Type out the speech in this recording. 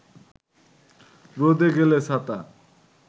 রোদে গেলে ছাতা